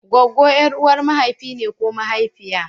Goggo ƴar'uwar mahaifi ne ko mahaifiya.